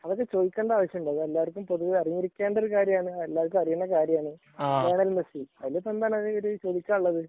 അതിപ്പോ ചോദിക്കേണ്ട കാര്യമുണ്ടോ എല്ലാർക്കും അറിഞ്ഞിരിക്കേണ്ട കാര്യമാണ് എല്ലാര്ക്കും അറിയുന്ന കാര്യമാണ് ലയണൽ മെസ്സി അതിപ്പ് എന്താ ചോദിക്കാനുള്ളത്